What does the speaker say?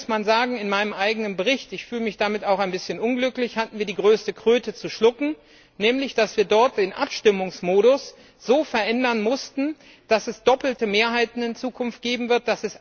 Hier muss man sagen In meinem eigenen Bericht ich fühle mich damit auch ein bisschen unglücklich hatten wir die größte Kröte zu schlucken, nämlich dass wir dort den Abstimmungsmodus so verändern mussten, dass es in Zukunft doppelte Mehrheiten geben wird.